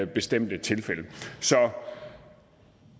bestemte tilfælde så